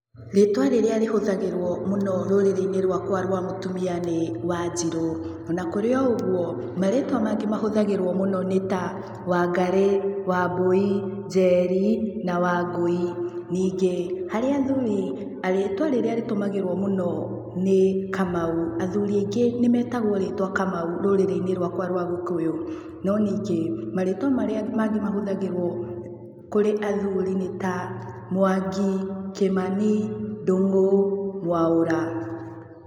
Rĩtwa rĩrĩa rĩhũthagĩrwo mũno rũrĩrĩ-inĩ rwakwa rwa mũtumia nĩ Wanjiru na kũrĩ o ũguo, marĩtwa mangĩ mahũthagĩrwo mũno nĩta Wangari, Wambui, Njeri na Wangui. Ningĩ harĩ athuri rĩtwa rĩrĩa rĩtũmagĩrwo mũno nĩ Kamau athuri aingĩ nĩmetagwo rĩtwa Kamau rũrĩrĩ-ini rwakwa rwa gikũyũ no ningĩ marĩtwa marĩa mangĩ mahũthagĩrwo kũrĩ athuri nĩ ta Mwangi, Kimani, Ndungu, Mwaura.